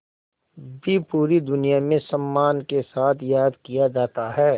भी पूरी दुनिया में सम्मान के साथ याद किया जाता है